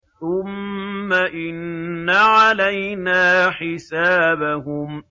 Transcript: ثُمَّ إِنَّ عَلَيْنَا حِسَابَهُم